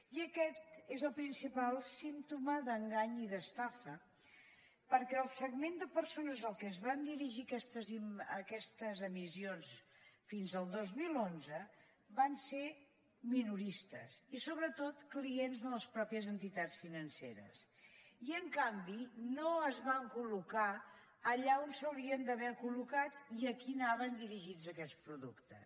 i aquest és el principal símptoma d’engany i d’estafa perquè el segment de persones a què es van dirigir aquestes emissions fins el dos mil onze van ser minoristes i sobretot clients de les mateixes entitats financeres i en canvi no es van collocat i a qui anaven dirigits aquests productes